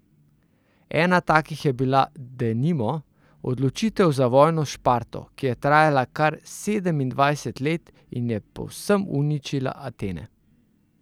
Ena takih je bila, denimo, odločitev za vojno s Šparto, ki je trajala kar sedemindvajset let in je povsem uničila Atene.